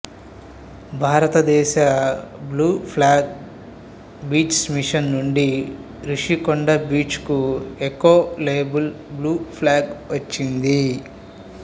భారతదేశ blue flag beaches mission నుండి Rushikonda beach కు ఎకో లేబుల్ బ్లూ ఫ్లాగ్ వచ్చింది